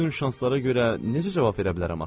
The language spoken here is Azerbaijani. Bütün şanslara görə necə cavab verə bilərəm axı?